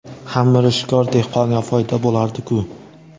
ham mirishkor dehqonga foyda bo‘lardiku.